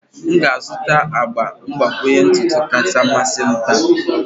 M ga-azụta agba mgbakwunye ntutu kacha mmasị m taa.